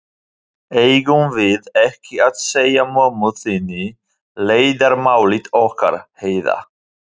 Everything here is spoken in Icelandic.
Eigum við ekki að segja mömmu þinni leyndarmálið okkar, Heiða?